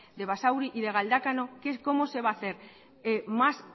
de basauri y de galdakao cómo se va a hacer más